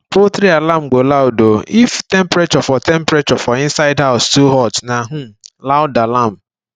poultry alarm go loud um if temperature for temperature for inside house too hot na um loud alarm